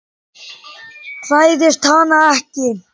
Hræðist hana ekki.